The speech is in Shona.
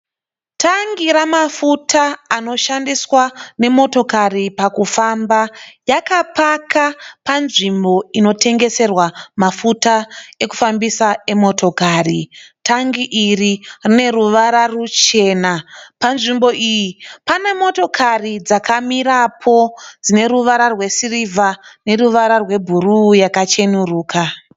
Tangi ramafuta anoshandiswa nemotokari pakufamba. Yakapaka panzvimbo inotengeserwa mafuta ekufambisa emotokari. Tangi iri rine ruvara ruchena. Panzvimbo iyi pane motakari dzakamirapo dzine ruvara rwesirivha neruvara rwebhuruu yakacheneruka.